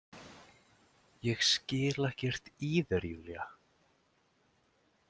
Ég skil ekkert í þér, Júlía.